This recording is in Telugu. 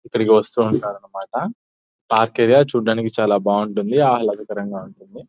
ఇక్కడికి వస్తూ ఉంటారు అన్నమాట. పార్క్ ఏరియా చూడడానికి చాలా బాగుంటుంది. ఆహ్లాదకరంగా ఉంటుంది.